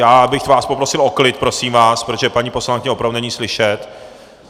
Já bych vás poprosil o klid, prosím vás, protože paní poslankyni opravdu není slyšet.